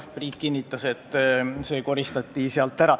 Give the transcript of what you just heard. Priit kinnitas, et see koristati sealt ära.